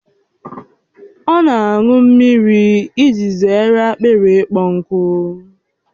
Ọ na-aṅụ mmiri iji zere akpịrị ịkpọ nkụ